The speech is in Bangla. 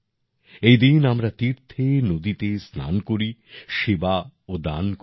এদিন আমরা তীর্থে নদীতে স্নান করি সেবা ও দান করি